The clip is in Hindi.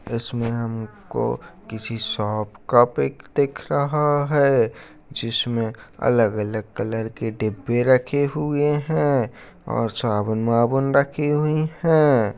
इसमें हमको किसी शॉप का पीक दिख रहा है जिसमें अलग-अलग कलर के डिब्बे रखे हुए हैं और साबुन-माबून रखे हुए हैं।